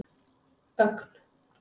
Ögn